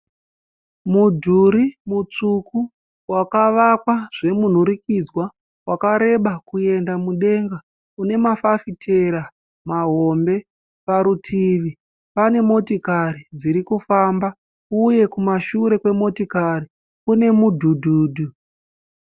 Mudhuri mutsvuku wakavakwa zvemunhurikidzwa wakareba kuenda mudenga une mafafitera mahombe parutivi pane motikari dziri kufamba uye kumashure kwe motikari kune mudhudhudhu.